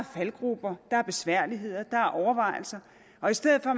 faldgruber der er besværligheder der er overvejelser og i stedet for